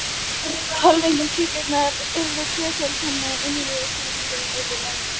Hvelfing kirkjunnar yrði tvöföld, þannig, að innri hvelfingin yrði lægri.